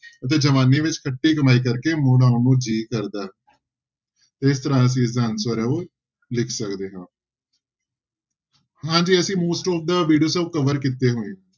ਅਤੇ ਜਵਾਨੀ ਵਿਚ ਖਟੀ ਕਮਾਈ ਕਰ ਕੇ ਮੁੜ ਆਉਣ ਨੂੰ ਜੀ ਕਰਦਾ ਹੈ ਇਸ ਤਰ੍ਹਾਂ ਅਸੀਂ ਇਸਦਾ answer ਹੈ ਉਹ ਲਿਖ ਸਕਦੇ ਹਾਂ ਹਾਂਜੀ ਅਸੀਂ most of the cover ਕੀਤੇ ਹੋਏ ਆ।